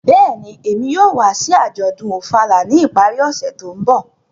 Bẹ́ẹ̀ni, Emi yóò wa si ajọdun Ofala ni ipari ọse to nbọ.